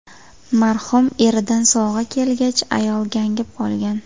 Marhum eridan sovg‘a kelgach, ayol gangib qolgan.